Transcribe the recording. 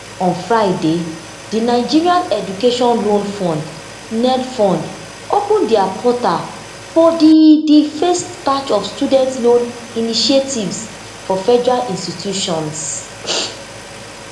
on friday di nigerian education loan fund nelfund open dia portal for di di first batch of student loan initiatives for federal institutions